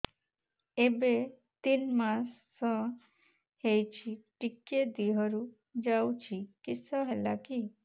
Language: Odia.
ଏବେ ତିନ୍ ମାସ ହେଇଛି ଟିକିଏ ଦିହରୁ ଯାଉଛି କିଶ ହେଲାକି